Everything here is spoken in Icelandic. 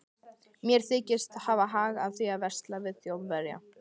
Hver þykist hafa hag af því að versla við Þjóðverja?